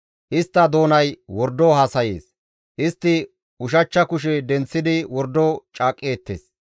Istta doonay wordo haasayees; istti ushachcha kushe denththidi wordo caaqqeettes.